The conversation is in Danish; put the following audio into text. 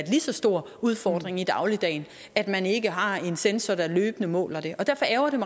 lige så stor udfordring i dagligdagen at man ikke har en censor der løbende måler det og derfor ærgrer